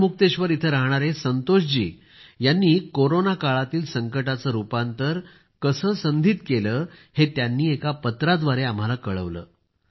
गढमुक्तेश्वर येथे राहणाऱ्या संतोष जी यांनी कोरोना काळातील संकटाचे रूपातंर कसे संधीत केले हे त्यांनी एका पत्राद्वारे आम्हाला कळवले